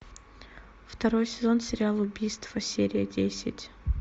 второй сезон сериал убийство серия десять